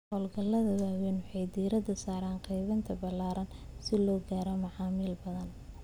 Hawlgallada waaweyn waxay diiradda saaraan qaybinta ballaaran si loo gaaro macaamiil badan.